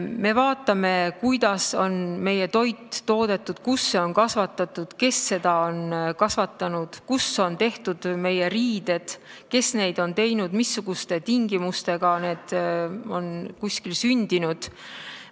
Me vaatame, kuidas on meie toit toodetud, kus see on kasvatatud, kes seda on kasvatanud, kus on tehtud meie riided, kes neid on teinud, missugustes tingimustes need on sündinud.